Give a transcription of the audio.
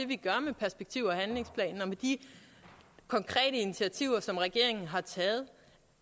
vi gør med perspektiv og handlingsplanen og med de konkrete initiativer som regeringen har taget